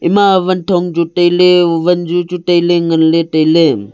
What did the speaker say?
ema wanthong tailey wanzu chu tailey nganley tailey.